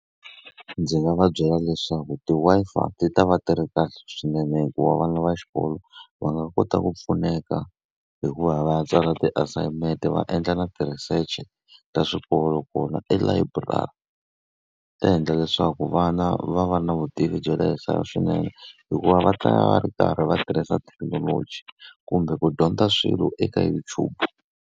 Ndzi nga va byela leswaku ti-Wi-Fi ti ta va ti ri kahle swinene hikuva vana va xikolo va nga kota ku pfuneka hi ku va yi va ya tsala ti-assignment-e va endla na ti-research ta swikolo kona elayiburari. Ta endla leswaku vana va va na vutivi bya le henhla swinene hikuva va ta va ri karhi va tirhisa thekinoloji kumbe ku dyondza swilo eka YouTube.